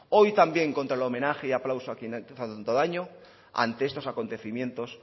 hoy también contra el homenaje y aplauso a quienes han hecho tanto daño ante estos acontecimientos